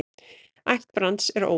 Ætt Brands er óviss.